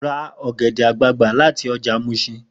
Ra ọ̀gẹ̀dẹ̀ àgbagbà láti ọjà Muṣin!